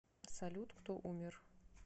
салют кто умер